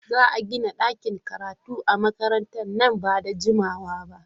Za a gina ɗakin karatu a makarantara nan ba da jimawa ba.